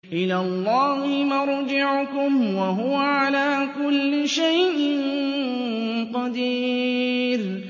إِلَى اللَّهِ مَرْجِعُكُمْ ۖ وَهُوَ عَلَىٰ كُلِّ شَيْءٍ قَدِيرٌ